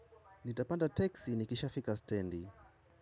Nitapanda teksi nikisha fika standi.